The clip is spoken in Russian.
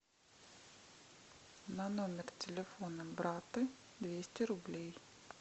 на номер телефона брата двести рублей